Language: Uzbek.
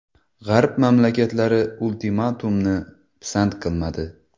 G‘arb mamlakatlari ultimatumni pisand qilmadi.